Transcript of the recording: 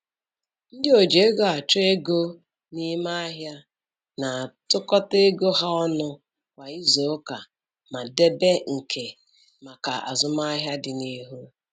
Ndị oji ego achọ ego n'ime ahịa na-atụkọta ego ha ọnụ kwa izuuka ma debe nke maka azụmahịa dịnihu.